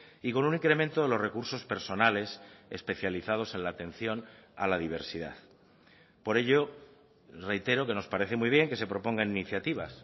y con un incremento de los recursos personales especializados en la atención a la diversidad por ello reitero que nos parece muy bien que se propongan iniciativas